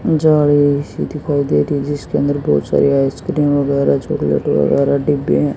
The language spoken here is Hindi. जा रही सी दिखाई दे रही जिसके अंदर बहोत सारे आइसक्रीम वगैरा चॉकलेट वगैरह डिब्बे में--